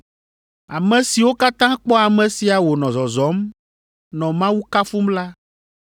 Ame siwo katã kpɔ ame sia wònɔ zɔzɔm, nɔ Mawu kafum la